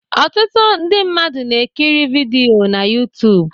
Ọtụtụ ndị mmadụ na-ekiri vidiyo na youtube